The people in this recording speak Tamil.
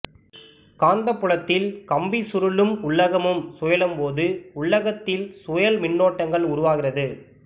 காந்தப்புலத்தில் கம்பிச்சுருளும் உள்ளகமும் சுழலும் போது உள்ளகத்தில் சுழல் மின்னோட்டங்கள் உருவாகிறது